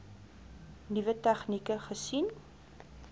nuwe tegnieke gesien